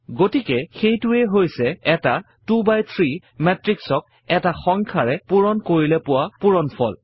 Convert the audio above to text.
গতিকে সেইটোৱেই হৈছে এটা 2 বাই 3 মেত্ৰিক্সক এটা সংখ্যাৰে পূৰণ কৰিলে পোৱা পূৰণফল